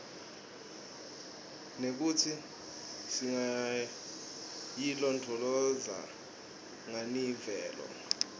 nekutsi singayilondvolozata nganiimvelo